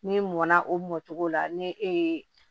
Ni mɔnna o mɔ cogo la ni e ye